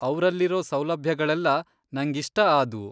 ಅವ್ರಲ್ಲಿರೋ ಸೌಲಭ್ಯಗಳೆಲ್ಲ ನಂಗಿಷ್ಟ ಆದ್ವು.